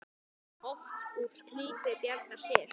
Oft úr klípu bjargar sér.